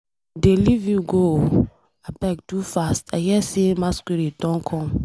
I dey leave you go ooo. Abeg do fast, I hear say masquerade dey come.